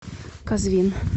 казвин